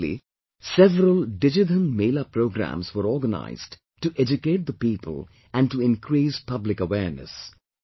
Recently, several Digidhanmela programmes were organised to educate the people and to increase public awareness